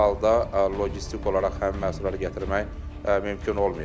Bu halda logistik olaraq həmin məhsulları gətirmək mümkün olmayacaq.